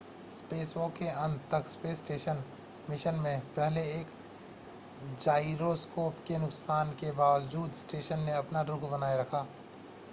spacewalk के अंत तक स्पेस स्टेशन मिशन में पहले एक जाइरोस्कोप के नुकसान के बावजूद स्टेशन ने अपना रुख़ बनाए रखा